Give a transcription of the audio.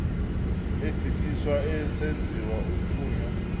egqithiswa esenziwa umthunywa